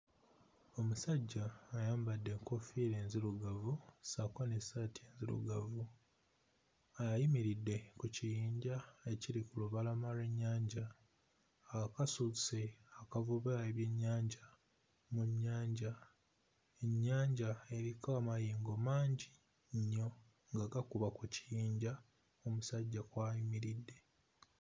Omusajja ayambadde enkoofiira nzirugavu ssaako n'essaati nzirugavu. Ayimiridde ku kiyinja ekiri ku lubalama lw'ennyanja. Akasuse akavuba ebyennyanja mu nnyanja. Ennyanja eriko amayengo mangi nnyo nga gakuba ku kiyinja omusajja kw'ayimiridde.